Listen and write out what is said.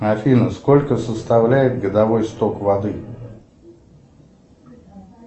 афина сколько составляет годовой сток воды